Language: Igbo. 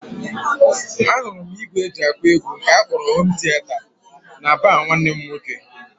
Ahụrụ m ìgwè e ji akụ egwu nke a kpọrọ hom tieta n'ịbarị nwanne m nwoke